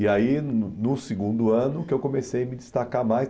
E aí, no no segundo ano, que eu comecei a me destacar mais.